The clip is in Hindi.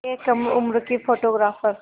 एक कम उम्र की फ़ोटोग्राफ़र